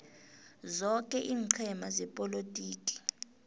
zoke iinqhema zepolotiki